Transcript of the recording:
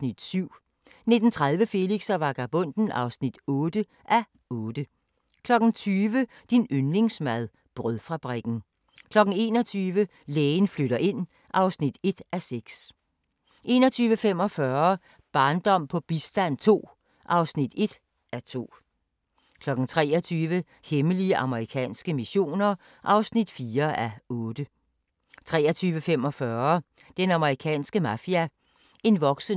21:45: Barndom på bistand II (1:2) 23:00: Hemmelige amerikanske missioner (4:8) 23:45: Den amerikanske mafia: En voksende trussel (4:8) 00:25: Vold i hjemmet – når den elskede slår * 01:25: Lægens dødelige eksperimenter (3:3) 02:25: Deadline Nat